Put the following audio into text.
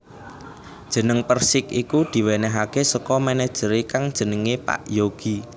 Jeneng Persik iku diwénéhaké saka manajeré kang jenenge Pak Yogi